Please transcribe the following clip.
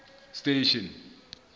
station